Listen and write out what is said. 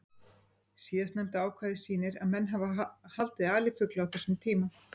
Síðastnefnda ákvæðið sýnir að menn hafa haldið alifugla á þessum tíma.